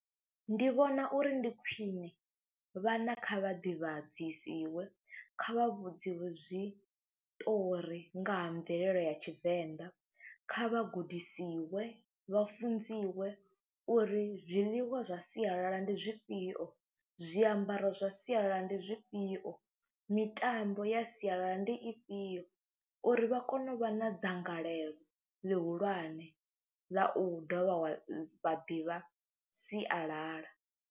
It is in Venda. Ndi vhona uri ndi khwine vhana kha vha ḓivhadzisiwe, kha vha vhudziwe zwiṱori nga ha mvelele ya Tshivenḓa, kha vha gudisiwe vha funziwe uri zwiḽiwa zwa sialala ndi zwifhio, zwiambaro zwa sialala ndi zwifhio, mitambo ya sialala ndi ifhio uri vha kone u vha na dzangalelo ḽihulwane ḽa u dovha wa vha ḓivha sialala.